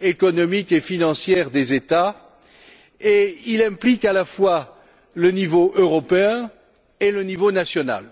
économiques et financières des États et il implique, à la fois, le niveau européen et le niveau national.